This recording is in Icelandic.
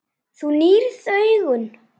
Þú nýrð augun.